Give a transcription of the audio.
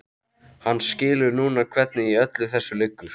Hann skilur núna hvernig í öllu þessu liggur.